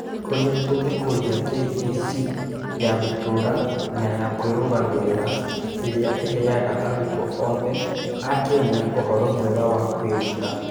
Ũrĩa tũngĩkũria KEC ya gũtũũra na ya kwĩrũgamĩrĩra ĩrĩa ĩheaga arutwo othe a Kenya ũhoro mwega wa kwĩruta.